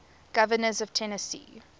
governors of tennessee